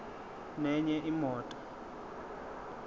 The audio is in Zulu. nenye imoto